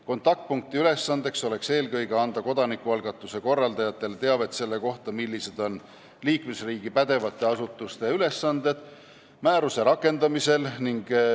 Kontaktpunkti ülesanne oleks eelkõige anda kodanikualgatuse korraldajatele teavet selle kohta, millised on liikmesriigi pädevate asutuste ülesanded määruse rakendamisel.